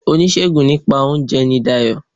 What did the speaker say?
Oníṣègùn nípa óunje ni Dayò